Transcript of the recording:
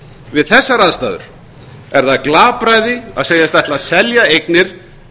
við þessar aðstæður er það glapræði að segjast ætla að selja eignir